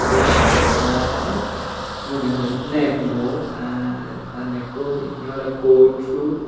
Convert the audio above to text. dey tara moneh hoi nek mok aa ta nekko oley pinney kot suit.